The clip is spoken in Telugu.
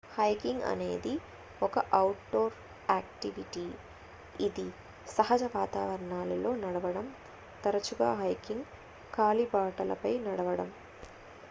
హైకింగ్ అనేది ఒక అవుట్ డోర్ యాక్టివిటీ ఇది సహజ వాతావరణాల్లో నడవడం తరచుగా హైకింగ్ కాలిబాటలపై నడవడం